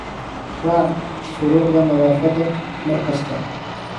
Raac shuruucda nadaafadda mar kasta.